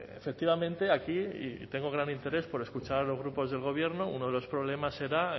efectivamente aquí y tengo gran interés por escuchar a los grupos del gobierno uno de los problemas era